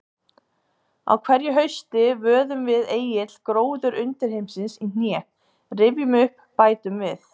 Á hverju hausti vöðum við Egill gróður undirheimsins í hné, rifjum upp, bætum við.